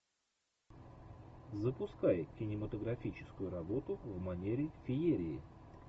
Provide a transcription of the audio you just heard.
запускай кинематографическую работу в манере феерии